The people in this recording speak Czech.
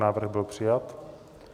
Návrh byl přijat.